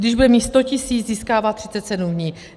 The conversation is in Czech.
Když bude mít 100 tisíc, získává 37 dní.